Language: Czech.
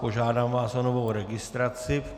Požádám vás o novou registraci.